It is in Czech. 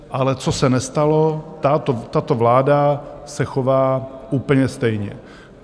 Ale co se nestalo, tato vláda se chová úplně stejně.